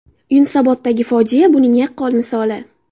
Yunusoboddagi fojia buning yaqqol misoli”.